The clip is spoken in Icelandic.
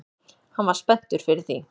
Hann var spenntur fyrir því